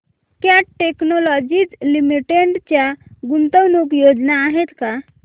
cat Technologies Limited च्या गुंतवणूक योजना आहेत का